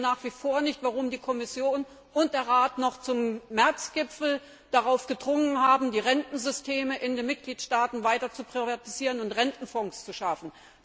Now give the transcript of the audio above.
Ich verstehe nach wie vor nicht, warum die Kommission und der Rat noch beim März Gipfel darauf gedrungen haben, die Rentensysteme in den Mitgliedstaaten weiter zu privatisieren und Rentenfonds zu schaffen.